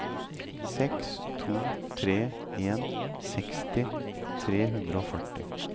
seks to tre en seksti tre hundre og førti